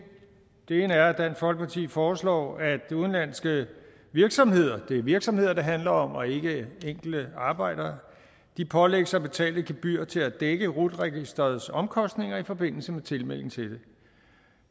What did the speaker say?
den ene er at dansk folkeparti foreslår at udenlandske virksomheder det er virksomheder det handler om og ikke enkelte arbejdere pålægges at betale et gebyr til at dække rut registerets omkostninger i forbindelse med tilmelding til det